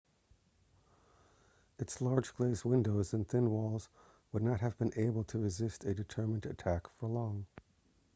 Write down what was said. its large glazed windows and thin walls would not have been able to resist a determined attack for long